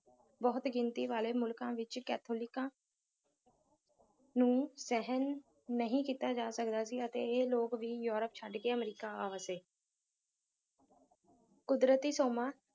ਬਹੁਤ ਗਿਣਤੀ ਵਾਲੇ ਮੁਲਕਾਂ ਵਿੱਚ ਕੈਥੋਲਿਕਾਂ ਨੂੰ ਸਹਿਣ ਨਹੀਂ ਕੀਤਾ ਜਾ ਸਕਦਾ ਸੀ ਅਤੇ ਇਹ ਲੋਕ ਵੀ ਯੂਰਪ ਛੱਡ ਕੇ ਅਮਰੀਕਾ ਆ ਵਸੇ ਕੁਦਰਤੀ ਸੋਮਾ